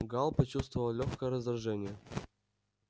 гаал почувствовал лёгкое раздражение